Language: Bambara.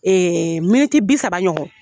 miniti bi saba ɲɔgɔn.